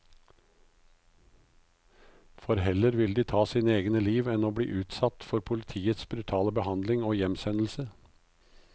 For heller ville de ta sine egne liv enn å bli utsatt for politiets brutale behandling og hjemsendelse.